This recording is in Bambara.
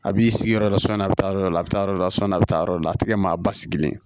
A b'i sigi yɔrɔ dɔ la sɔni a bɛ taa yɔrɔ dɔ la a bɛ taa yɔrɔ la sɔni a bɛ taa yɔrɔ dɔ la a tɛ kɛ maa ba sigilen ye